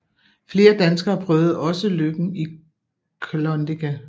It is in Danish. Flere danskere prøvede også lykken i Klondike